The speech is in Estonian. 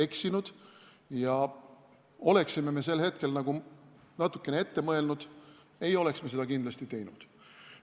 Kui me oleksime sel hetkel natuke ette mõelnud, ei oleks me seda kindlasti teinud.